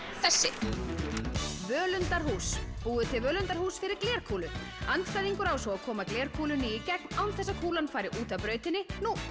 þessi völundarhús búið til völundarhús fyrir glerkúlu andstæðingur á svo að koma kúlunni í gegn án þess að kúlan fari út af brautinni